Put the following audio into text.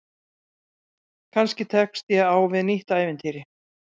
Kannski tekst ég á við nýtt ævintýri.